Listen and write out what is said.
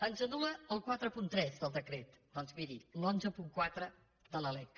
ens anul·la el quaranta tres del decret doncs miri l’cent i catorze de la lec